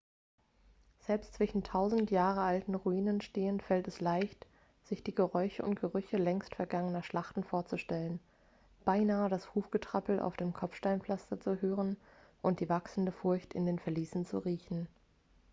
selbst zwischen tausend jahre alten ruinen stehend fällt es leicht sich die geräusche und gerüche längst vergangener schlachten vorzustellen beinahe das hufgetrappel auf dem kopfsteinpflaster zu hören und die wachsende furcht in den verliesen zu riechen